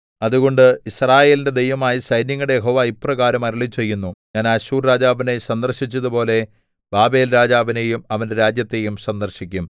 അതുകൊണ്ട് യിസ്രായേലിന്റെ ദൈവമായ സൈന്യങ്ങളുടെ യഹോവ ഇപ്രകാരം അരുളിച്ചെയ്യുന്നു ഞാൻ അശ്ശൂർ രാജാവിനെ സന്ദർശിച്ചതുപോലെ ബാബേൽ രാജാവിനെയും അവന്റെ രാജ്യത്തെയും സന്ദർശിക്കും